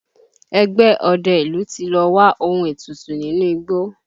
Ẹgbẹ́ ọdẹ ìlú ti lọ wá ohun ètùtù nínú igbó